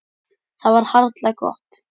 Það var harla gott.